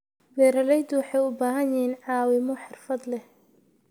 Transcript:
Beeraleydu waxay u baahan yihiin caawimo xirfad leh.